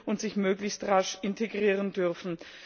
und sich möglichst rasch integrieren dürfen.